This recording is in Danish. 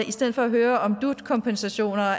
i stedet for at høre om dut kompensationer